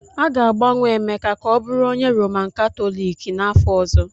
A ga-agbanwe Emeka ka ọ bụrụ onye Roman Katọliki n'afọ ọzọ!